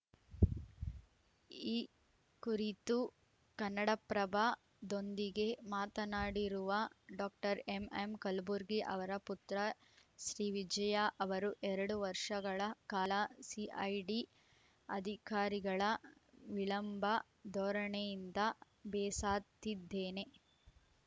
ಈ ಕುರಿತು ಕನ್ನಡಪ್ರಭದೊಂದಿಗೆ ಮಾತನಾಡಿರುವ ಡಾಕ್ಟರ್ ಎಂಎಂ ಕಲಬುರ್ಗಿ ಅವರ ಪುತ್ರ ಶ್ರೀವಿಜಯ ಅವರು ಎರಡು ವರ್ಷಗಳ ಕಾಲ ಸಿಐಡಿ ಅಧಿಕಾರಿಗಳ ವಿಳಂಬ ಧೋರಣೆಯಿಂದ ಬೇಸಾತ್ತಿದ್ದೇನೆ